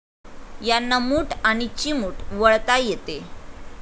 यांना मूठ आणि चिमूट वळता येते.